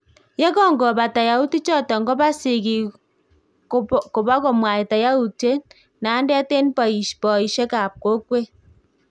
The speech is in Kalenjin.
Yekongobata yautik choton koba sigiik kobokomwaita yautiet nandet en boisiek ab kokwet